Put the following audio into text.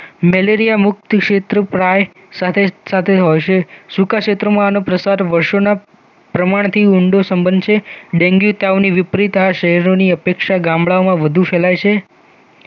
malaria મુકત ક્ષેત્ર પ્રાય સાથે સાથે હશે સૂકા ક્ષેત્રમાંઆનો પ્રસાર વર્ષોના પ્રમાણ થી ઊંડો સંબંધ છે ડેનગી તાવની વિપરીત આ શહેરોની અપેક્ષા ગામડાઓમાં વધુ ફેલાય છે